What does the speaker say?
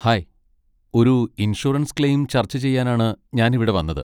Hi, ഒരു insurance claim ചർച്ച ചെയ്യാനാണ് ഞാൻ ഇവിടെ വന്നത്.